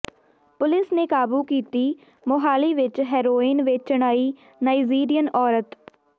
police ਨੇ ਕਾਬੂ ਕੀਤੀ ਮੋਹਾਲੀ ਵਿੱਚ ਹੈਰੋਇਨ ਵੇਚਣ ਆਈ ਨਾਇਜ਼ੀਰੀਅਨ ਔਰਤ